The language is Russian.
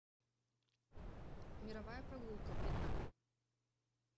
мировая прогулка вьетнам